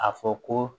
A fɔ ko